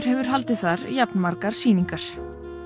hefur haldið þar jafnmargar sýningar